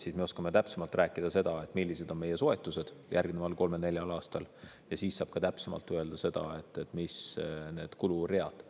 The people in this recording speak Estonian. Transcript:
Siis me oskame täpsemalt rääkida seda, millised on meie soetused järgneval kolmel-neljal aastal, ja siis saab ka täpsemalt öelda seda, millised need kuluread on.